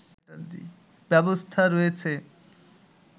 ব্যবস্থা রয়েছে